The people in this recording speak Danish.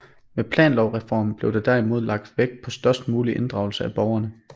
Med planlovreformen blev der derimod lagt vægt på størst mulig inddragelse af borgerne